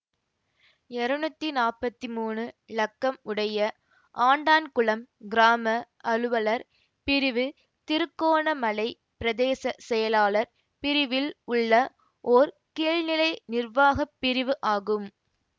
இருநூத்தி நாற்பத்தி மூனு இலக்கம் உடைய ஆண்டான்குளம் கிராம அலுவலர் பிரிவு திருக்கோணமலை பிரதேச செயலாளர் பிரிவில் உள்ள ஓர் கீழ்நிலை நிர்வாக பிரிவு ஆகும்